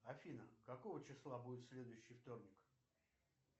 афина какого числа будет следующий вторник